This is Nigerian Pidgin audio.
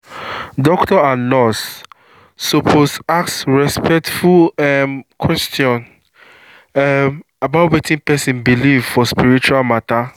doctor and nurse suppose ask respectful um question um about wetin person believe for spiritual matter.